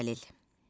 Kimdir əlil?